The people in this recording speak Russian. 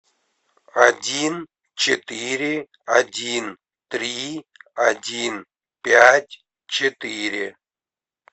один четыре один три один пять четыре